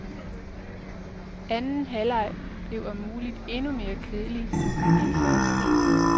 Anden halvleg blev om muligt endnu mere kedelig end første.